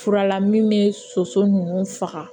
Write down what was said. Furala min bɛ soso ninnu faga